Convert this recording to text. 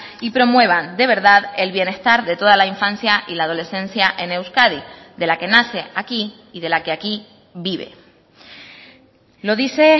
y promuevan de verdad el bienestar de toda la infancia y la adolescencia en euskadi de la que nace aquí y de la que aquí vive lo dice